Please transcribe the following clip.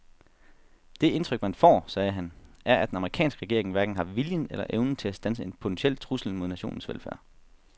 Det indtryk man får, sagde han, er at den amerikanske regering hverken har viljen eller evnen til at standse en potentiel trussel mod nationens velfærd.